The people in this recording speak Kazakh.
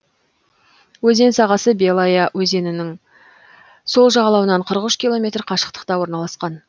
өзен сағасы белая өзенінің сол жағалауынан қырық үш километр қашықтықта орналасқан